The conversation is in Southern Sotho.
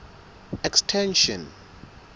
extension